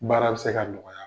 Baara bɛ se ka nɔgɔya,